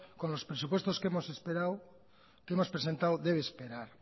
con los presupuestos que hemos presentado debe esperar